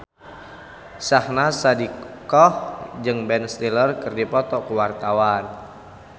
Syahnaz Sadiqah jeung Ben Stiller keur dipoto ku wartawan